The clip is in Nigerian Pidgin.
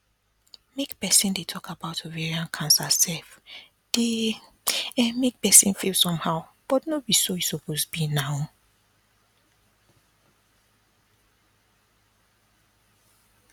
make persin dey talk about ovarian cancer sef dey um make persin feel somehow but no be so e be now